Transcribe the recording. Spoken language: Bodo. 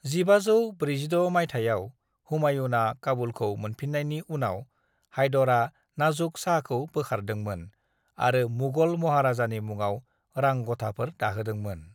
"1546 माइथायाव, हुमायुनआ काबुलखौ मोनफिन्नायनि उनाव, हायदरा नाज़ुक शाहखौ बोखारदोंमोन आरो मुगल महाराजानि मुङाव रांग'थाफोर दाहोदोंमोन।"